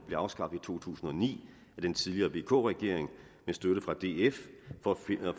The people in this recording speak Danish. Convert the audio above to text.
blev afskaffet i to tusind og ni af den tidligere vk regering med støtte fra df